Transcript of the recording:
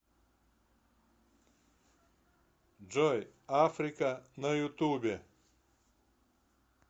джой африка на ютубе